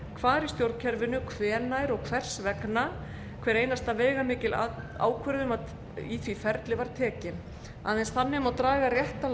hvar í stjórnkerfinu hvenær og hvers vegna hver einasta veigamikil ákvörðun í því ferli var tekin aðeins þannig má draga réttan